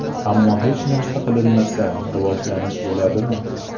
Ammo hech narsa qilinmasa, rivojlanish bo‘ladimi?